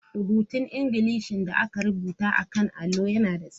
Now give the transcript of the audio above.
Rubutun Ingilishi da aka rubuta a kan allo yana da tsayi sosai.